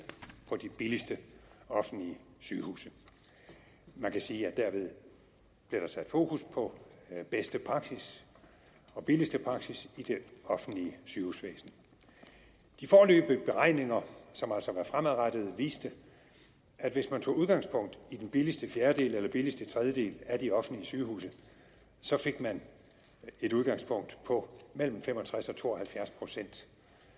var på de billigste offentlige sygehuse man kan sige at derved blev der sat fokus på bedste praksis og billigste praksis i det offentlige sygehusvæsen de foreløbige beregninger som altså var fremadrettede viste at hvis man tog udgangspunkt i den billigste fjerdedel eller billigste tredjedel af de offentlige sygehuse fik man et udgangspunkt på mellem fem og tres og to og halvfjerds procent